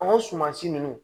An ka suman si ninnu